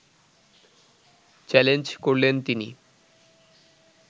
challenge করলেন তিনি